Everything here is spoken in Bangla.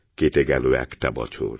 কেটে গেল একটা বছর